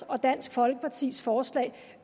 og dansk folkepartis forslag